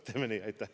Teeme nii!